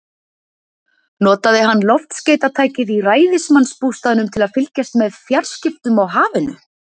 Notaði hann loftskeytatækið í ræðismannsbústaðnum til að fylgjast með fjarskiptum á hafinu?